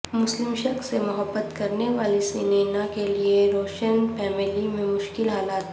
مسلم شخص سے محبت کرنے والی سنینا کیلئے روشن فیملی میں مشکل حالات